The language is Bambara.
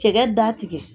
Cɛkɛ da tigɛ